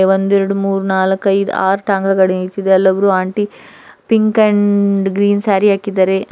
ಒಂದು ಎರಡು ಮೂರು ನಾಲ್ಕು ಐದು ಆರು ಟಾಂಗ ಗಾಡಿ ಅಲ್ಲೊಬ್ಬರು aunty pink and green sari ಹಾಕಿದ್ದಾರೆ.